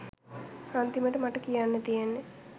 අන්තිමට මට කියන්න තියෙන්නේ